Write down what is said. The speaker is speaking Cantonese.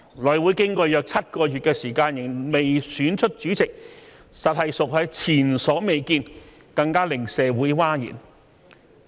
內會經過約7個月時間仍未選出主席，實屬前所未見，更令社會譁然。